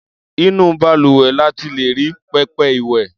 Inú balùwẹ̀ la ti lè rí pẹpẹ ìwẹ̀.